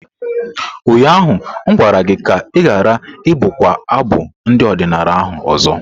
Ụnyaahụ m gwara gị ka ị ghara ibụkwa abụ ndị odinala ahu ọzọ!